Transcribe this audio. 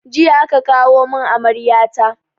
Jiya aka kawo mun amarya ta